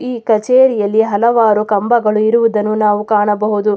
ಈ ಕಚೇರಿಯಲ್ಲಿ ಹಲವಾರು ಕಂಬಗಳು ಇರುವುದನ್ನು ನಾವು ಕಾಣಬಹುದು.